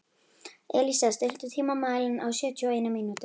Elísa, stilltu tímamælinn á sjötíu og eina mínútur.